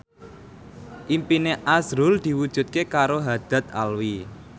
impine azrul diwujudke karo Haddad Alwi